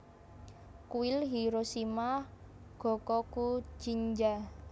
Kuil Hiroshima Gokokujinja